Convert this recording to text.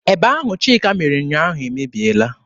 Eba ahụ Chika mere ụnyaahụ emebiela.